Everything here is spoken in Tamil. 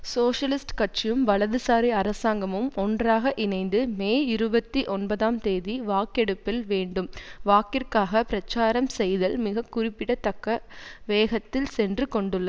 சோசியலிஸ்ட் கட்சியும் வலதுசாரி அரசாங்கமும் ஒன்றாக இணைந்து மே இருபத்தி ஒன்பதாம் தேதி வாக்கெடுப்பில் வேண்டும் வாக்கிற்காக பிரச்சாரம் செய்தல் மிக குறிப்பிடத்தக்க வேகத்தில் சென்று கொண்டுள்ள